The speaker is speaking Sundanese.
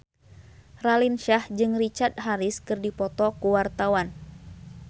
Raline Shah jeung Richard Harris keur dipoto ku wartawan